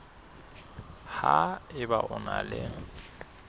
ha eba o na le